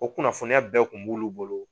O kunnafoniya bɛɛ kun b'ulu bolo.